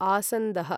आसन्दः